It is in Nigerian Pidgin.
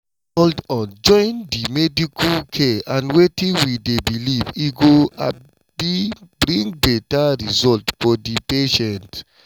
hold on join di medical care and wetin we dey believe e go um bring beta result for di patients.